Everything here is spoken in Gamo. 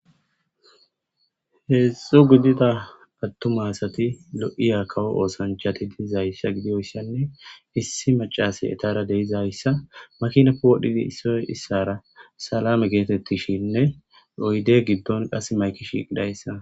Heedzdzu gidida attuma asati lo'iya kawo oosanchati diizayssa gidiyoyssanne issi macase etara de'izayssa makinape wodhidi issoy issara salame geetetishenne oyde giddon qasimayki shiiqidayssa,